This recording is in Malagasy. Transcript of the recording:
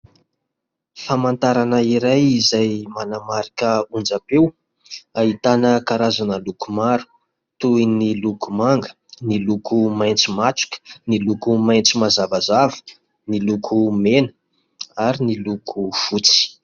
Famantarana iray izay manamarika onjam-peo, ahitana karazana loko maro. Toy ny loko manga, ny loko maitso matroka, ny loko maitso mazavazava, ny loko mena ary ny loko fotsy.